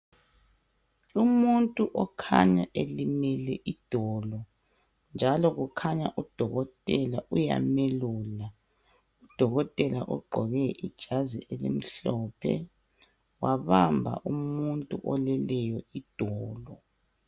Umuntu okhanya ilimele idolo njalo kukhanya udokotela uyamelula. Udokotela ogqoke ijazi elimhlophe wabamba umuntu oleleyo idolo.